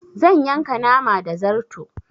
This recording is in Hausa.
Zan yanka nama da zarto